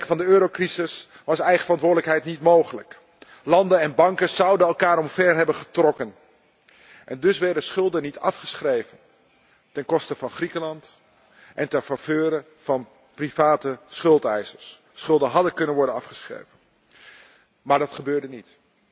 Bij het uitbreken van de eurocrisis was eigen verantwoordelijkheid niet mogelijk. Landen en banken zouden elkaar omver hebben getrokken en dus werden schulden niet afgeschreven, ten koste van Griekenland en ten faveure van private schuldeisers. Schulden hadden kunnen worden afgeschreven, maar dat gebeurde niet.